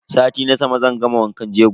Sati na sama zan gama wankan jego.